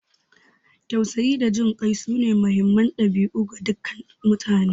Tausayi da jin kai sune muhimman dabi'u ga dukkan mutane.